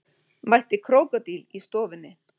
Mætti krókódíl í stofunni